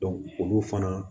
olu fana